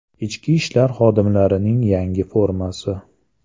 Ichki ishlar xodimlarining yangi formasi.